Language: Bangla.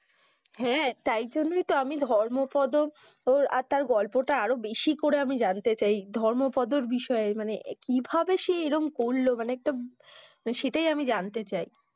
হ্যাঁ তাই জন্য তো আমি ধর্ম পদো ও আর ওর গল্পটা আমি বেশি করে জানতে চাই ধর্মপদর বিষয়ে মানে কি ভাবে সে এরম করলো মানে একটা সেটাই আমি জানতে চাই